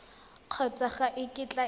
kgotsa ga e kitla e